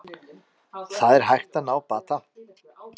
Það er hægt að ná bata